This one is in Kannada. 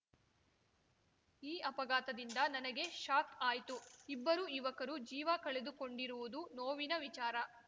ಈ ಅಪಘಾತದಿಂದ ನನಗೆ ಶಾಕ್‌ ಆಯ್ತು ಇಬ್ಬರು ಯುವಕರು ಜೀವ ಕಳೆದುಕೊಂಡಿರುವುದು ನೋವಿನ ವಿಚಾರ